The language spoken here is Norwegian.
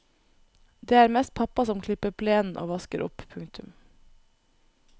Det er mest pappa som klipper plenen og vasker opp. punktum